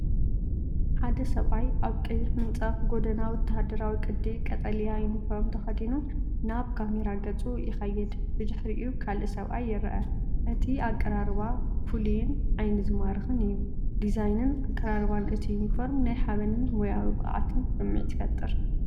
ሓደ ሰብኣይ ኣብ ቀይሕ ምንጻፍ/ጎደና ወተሃደራዊ ቅዲ ቀጠልያ ዩኒፎርም ተኸዲኑ ናብ ካሜራ ገጹ ይኸይድ። ብድሕሪኡ ካልእ ሰብኣይ ይረአ። እቲ ኣቀራርባ ፍሉይን ዓይኒ ዝማርኽን እዩ። ዲዛይንን ኣቀራርባን እቲ ዩኒፎርም ናይ ሓበንን ሞያዊ ብቕዓትን ስምዒት ይፈጥር።